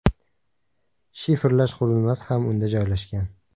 Shifrlash qurilmasi ham unda joylashgan.